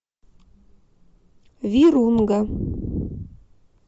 вирунга